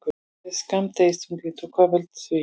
Hvað er skammdegisþunglyndi og hvað veldur því?